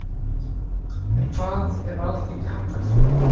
En hvað ef Alþingi hafnar því?